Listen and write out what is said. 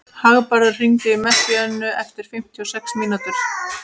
Hagbarður, hringdu í Messíönu eftir fimmtíu og sex mínútur.